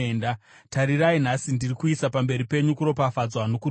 Tarirai, nhasi ndiri kuisa pamberi penyu kuropafadzwa nokutukwa,